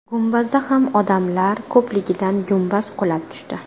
Gumbazda ham odamlar ko‘pligidan gumbaz qulab tushdi.